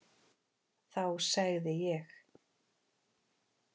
Þá segði ég: